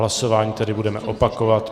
Hlasování tedy budeme opakovat.